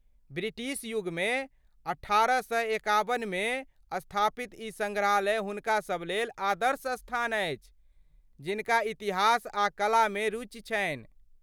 British युगमे अठारह सए एकाबनमे स्थापित ई सङ्ग्रहालय हुनकासब लेल आदर्श स्थान अछि जिनका इतिहास आ कला मे रुचि छनि।